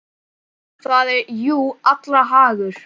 Það er jú allra hagur.